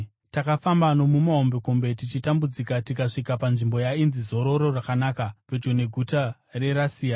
Takafamba nokumahombekombe tichitambudzika tikasvika panzvimbo yainzi Zororo Rakanaka, pedyo neguta reRasea.